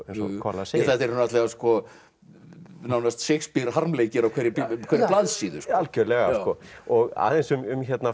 kolla segir þetta eru nánast Shakespeare harmleikir á hverri blaðsíðu algjörlega og aðeins um